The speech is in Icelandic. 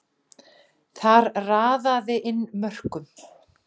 Þar raðaði inn mörkum.